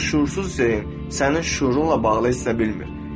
Ancaq şüursuz zeyin sənin şüurunla bağlı hiss edə bilmir.